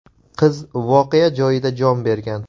Qiz voqea joyida jon bergan.